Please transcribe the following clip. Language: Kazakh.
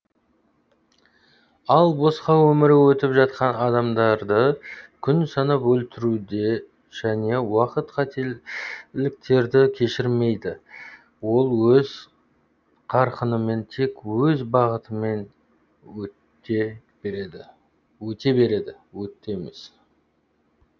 ал босқа өмірі өтіп жатқан адамдарды күн санап өлтіруде және уақыт қателіктерді кешірмейді ол өз қарқынымен тек өз бағытымен өтте береді